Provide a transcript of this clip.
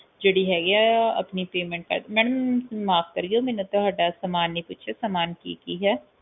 ਜਿਹੜੀ ਹੈਗੀ ਆ ਆਪਣੀ payment ਮੈਡਮ ਮਾਫ ਕਰਿਓ ਮੈਨੇ ਤੁਹਾਡਾ ਸਾਮਾਨ ਨਹੀਂ ਪੁੱਛਿਆ ਸਾਮਾਨ ਕਿ ਕਿ ਹੈ